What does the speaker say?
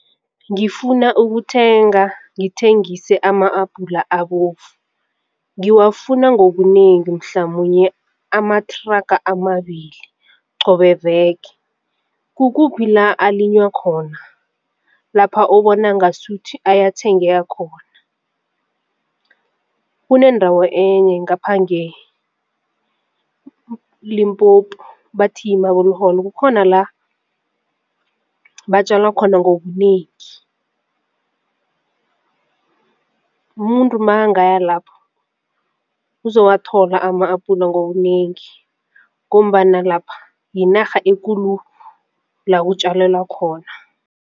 Ngifuna ukuthenga ngithengise ama-abhula abovu ngiwafuna ngobunengi mhlamunye amathraga amabili qobe veke, kukuphi la alinywa khona lapha obona ngasuthi ayathengeka khona? Kunendawo enye ngapha ngeLimpopo bathi yi-Marbehall kukhona la batjala khona ngobunengi umuntu makangaya lapho uzowathola ama-abhula ngobunengi ngombana lapha yinarha ekulu la kutjalelwa khona.